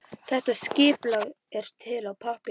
Þetta skipulag er til á pappírnum.